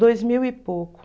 Dois mil e pouco.